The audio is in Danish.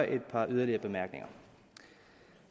et par yderligere bemærkninger